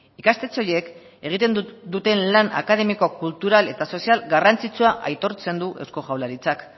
ikastetxe horiek egiten duten lan akademiko kulturak eta sozial garrantzitsua aitortzen du eusko jaurlaritzak